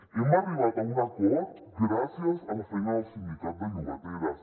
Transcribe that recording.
hem arribat a un acord gràcies a la feina del sindicat de llogateres